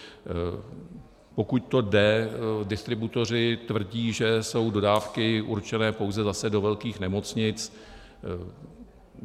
Pokud to jde, distributoři tvrdí, že jsou dodávky určené pouze zase do velkých nemocnic.